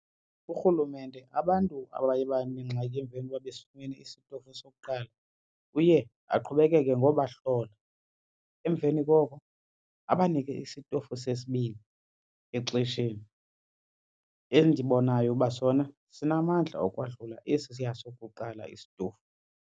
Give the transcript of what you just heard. URhulumente abantu abaye banengxaki emveni koba besifumene isitofu sokuqala uye aqhubekeke ngobahlola, emveni koko abanike isitofu sesibini exesheni, endibonayo uba sona sinamandla okwahlula esiya sokuqala isitofu.